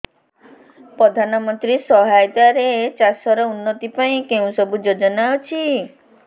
ପ୍ରଧାନମନ୍ତ୍ରୀ ସହାୟତା ରେ ଚାଷ ର ଉନ୍ନତି ପାଇଁ କେଉଁ ସବୁ ଯୋଜନା ଅଛି